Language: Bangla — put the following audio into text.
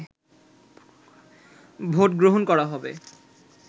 ভোট গ্রহণ করা হবে